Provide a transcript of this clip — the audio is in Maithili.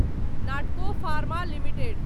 Natco pharma limited